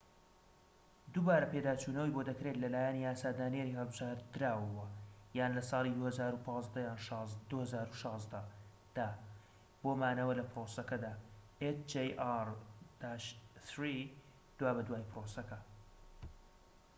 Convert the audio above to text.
دوابەدوای پرۆسەکە، hjr-3 دووبارە پێداچونەوەی بۆدەکرێت لەلایەن یاسادانەری هەڵبژێردراوەوە یان لە ساڵی ٢٠١٥ یان ٢٠١٦ دا بۆ مانەوە لە پرۆسەکەدا